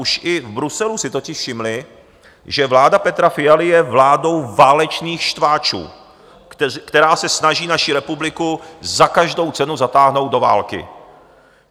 Už i v Bruselu si totiž všimli, že vláda Petra Fialy je vládou válečných štváčů, která se snaží naši republiku za každou cenu zatáhnout do války.